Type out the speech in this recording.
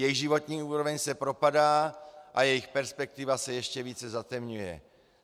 Jejich životní úroveň se propadá a jejich perspektiva se ještě více zatemňuje.